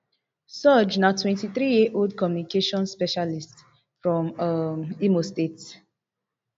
sooj na twenty-three years old communications specialist from um imo state